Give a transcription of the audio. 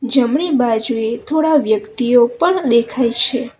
જમણી બાજુએ થોડા વ્યક્તિઓ પણ દેખાય છે.